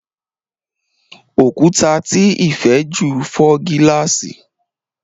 Òkúta tí Ifè jù fò gilasi.